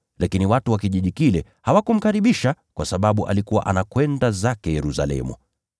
lakini watu wa kijiji kile hawakumkaribisha kwa sababu alikuwa anakwenda zake Yerusalemu.